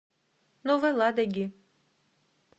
новой ладоги